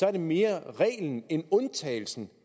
er det mere reglen end undtagelsen